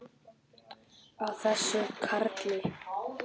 Á þessum karli!